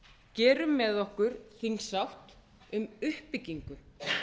gerum með okkur þingsátt um uppbyggingu